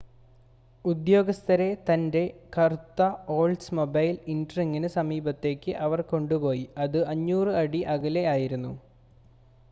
ഉദ്യോഗസ്ഥരെ തൻ്റെ കറുത്ത ഓൾഡ്സ്മൊബൈൽ ഇൻട്രീഗിന് സമീപത്തേക്ക് അവർ കൊണ്ടുപോയി അത് 500 അടി അകലെ ആയിരുന്നു